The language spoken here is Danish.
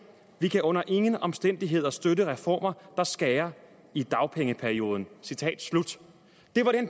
vi kan under ingen omstændigheder støtte reformer der skærer i dagpengeperioden citat slut det var